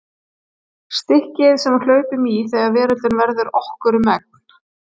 Stikkið sem við hlaupum í þegar veröldin verður okkur um megn.